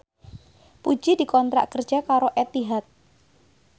Puji dikontrak kerja karo Etihad